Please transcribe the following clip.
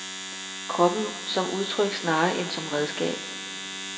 Kroppen som udtryk snarere end som redskab.